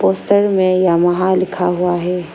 Stir में Yamaha लिखा हुआ है।